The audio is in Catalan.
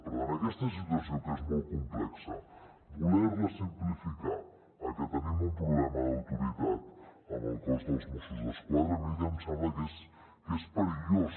per tant aquesta situació que és molt complexa voler la simplificar en que tenim un problema d’autoritat amb el cos de mossos d’esquadra a mi el que em sembla és que és perillós